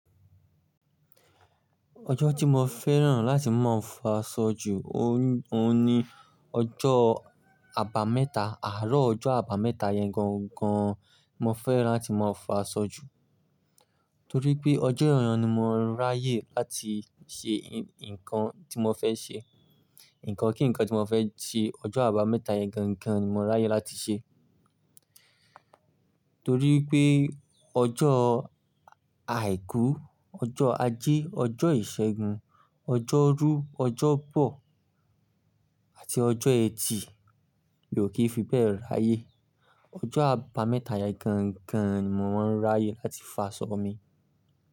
Ọjọ́ tí mo fẹ́ràn láti máa ń fa sọ ju, ó ní ọjọ́ àbámẹ́ta, àárọ̀ ọjọ́ àbámẹ́ta yẹn gangan mo fẹ́ràn láti máa ń fa sọ ju. Torí pé ọjọ́ èèyàn ni mo ń ráyè láti ṣe nǹkan tí mo fẹ́ ṣe. Ìnǹkan kí nǹkan tí mo fẹ́ ṣe, ọjọ́ àbámẹ́ta yẹn gangan ni mo ń ráyè láti ṣe. Torí pé ọjọ́ àìkú, ọjọ́ ajé, ọjọ́ ìṣẹ́gun, ọjọ́ rú, ọjọ́ bọ̀ àti ọjọ́ ẹtì mi ò kí fi bẹ́ẹ̀ ráyè. Ọjọ́ àbámẹ́ta yẹn gangan ni mò mò ń ráyè láti fa sọ mi.